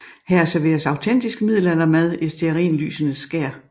Her serveres autentisk middelaldermad i stearinlysenes skær